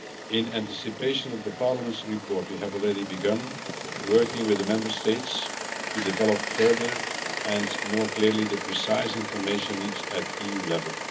In anticipation of Parliament's report, we have already begun working with the Member States to develop further and more clearly the precise information needs at EU level.